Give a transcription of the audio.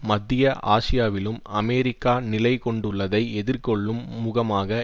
மத்திய ஆசியாவிலும் அமெரிக்கா நிலை கொண்டுள்ளதை எதிர்கொள்ளும் முகமாக